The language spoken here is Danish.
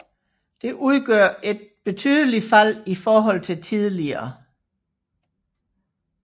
Det udgør et betydeligt fald i forhold til tidligere